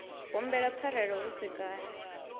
humbele pfarelo hu si kale